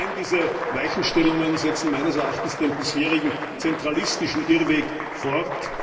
Allein diese Weichenstellungen setzen meines Erachtens den bisherigen, zentralistischen Irrweg fort